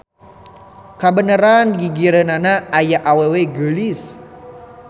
Kabeneran digigireunana aya awewe geulis.